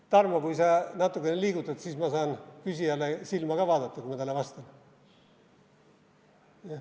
Tarmo, kui sa natukene liigutad, siis ma saan küsijale silma ka vaadata, kui ma talle vastan.